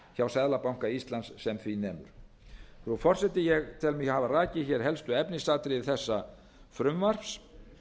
hjá seðlabanka íslands sem því nemur frú forseti ég tel mig hafa rakið hér helstu efnisatriði þessa frumvarps